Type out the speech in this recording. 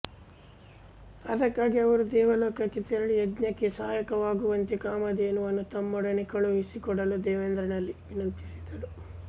ಅದಕ್ಕಾಗಿ ಅವರು ದೇವಲೋಕಕ್ಕೆ ತೆರಳಿ ಯಜ್ಞಕ್ಕೆ ಸಹಾಯಕವಾಗುವಂತೆ ಕಾಮಧೇನುವನ್ನು ತಮ್ಮೊಡನೆ ಕಳುಹಿಸಿ ಕೊಡಲು ದೇವೇಂದ್ರನಲ್ಲಿ ವಿನಂತಿಸಿದರು